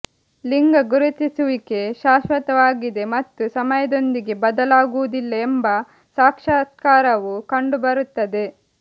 ಲಿಂಗ ಗುರುತಿಸುವಿಕೆ ಶಾಶ್ವತವಾಗಿದೆ ಮತ್ತು ಸಮಯದೊಂದಿಗೆ ಬದಲಾಗುವುದಿಲ್ಲ ಎಂಬ ಸಾಕ್ಷಾತ್ಕಾರವು ಕಂಡುಬರುತ್ತದೆ